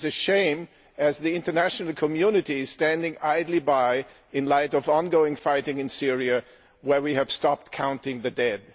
It is a shame, as the international community is standing idly by in light of ongoing fighting in Syria, where we have stopped counting the dead.